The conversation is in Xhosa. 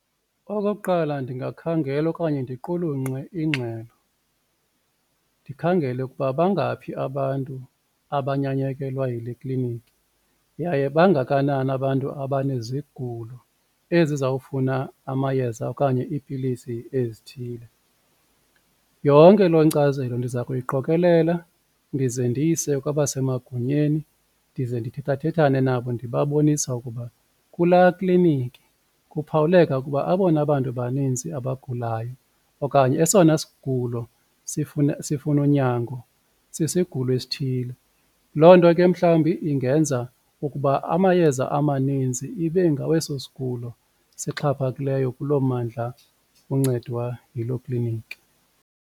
Okokuqala, ndingakhangela okanye ndiqulunqe ingxelo ndikhangele ukuba bangaphi abantu abanyanyekelwa yile kliniki, yaye bangakanani abantu abanezigulo ezizawufuna amayeza okanye iipilisi ezithile. Yonke loo nkcazelo ndiza kuyiqokelela ndize ndiyise kwabasemagunyeni ndize ndithethathethane nabo ndibabonisa ukuba kulaa kliniki kuphawuleka ukuba abona bantu baninzi abagulayo okanye esona sigulo sifuna unyango sisigulo esithile. Loo nto ke mhlawumbi ingenza ukuba amayeza amaninzi ibe ngaweso sigulo sixhaphakileyo kuloo mmandla uncedwa yiloo kliniki.